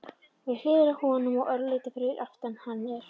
Við hliðina á honum og örlítið fyrir aftan hann er